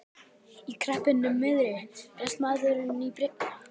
Í kreppunni miðri réðist maðurinn í að byggja.